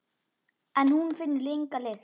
En hún finnur enga lykt.